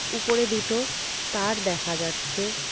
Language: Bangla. উপরে দুটো তার দেখা যাচ্ছে।